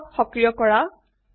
টুলবাৰক সক্ৰিয় কৰা